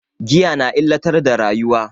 Giya na illatar da rayuwa.